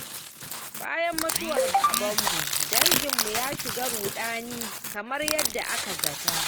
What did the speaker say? Bayan mutuwar babanmu danginmu ya shiga ruɗani, kamar yadda aka zata.